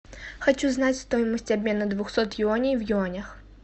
хочу знать стоимость обмена двухсот юаней в юанях